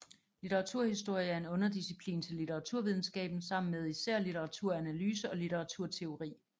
Litteraturhistorie er en underdisciplin til litteraturvidenskaben sammen med især litteraturanalyse og litteraturteori